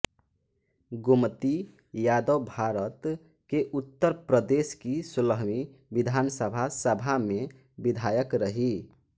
गोमती यादवभारत के उत्तर प्रदेश की सोलहवीं विधानसभा सभा में विधायक रहीं